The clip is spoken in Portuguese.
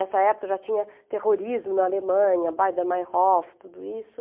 Nessa época já tinha terrorismo na Alemanha, Beidermeierhof, tudo isso.